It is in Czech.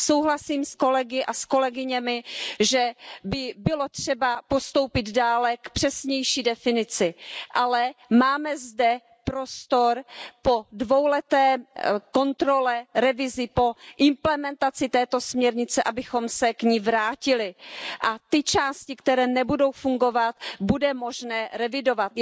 Souhlasím s kolegy a kolegyněmi, že by bylo třeba postoupit dále k přesnější definici, ale máme zde prostor po dvouleté kontrole, revizi, po implementaci této směrnice, abychom se k ní vrátili a ty části, které nebudou fungovat, bude možné revidovat.